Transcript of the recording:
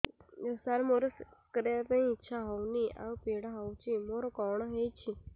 ସାର ମୋର ସେକ୍ସ କରିବା ପାଇଁ ଇଚ୍ଛା ହଉନି ଆଉ ପୀଡା ହଉଚି ମୋର କଣ ହେଇଛି